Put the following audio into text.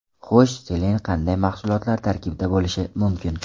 Xo‘sh, selen qanday mahsulotlar tarkibida bo‘lishi mumkin?